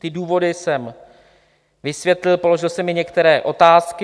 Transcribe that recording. Ty důvody jsem vysvětlil, položil jsem i některé otázky.